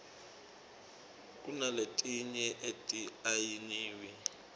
kunaletinye ati ayiniwi